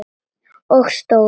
Og stór.